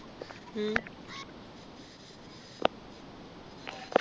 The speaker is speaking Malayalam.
ഉം